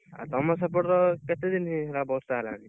ଆଉ ତମ ସେପଟ କେତେ ଦିନ ହେଲା ବର୍ଷା ହେଲାଣି?